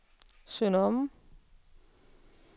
Sønder Omme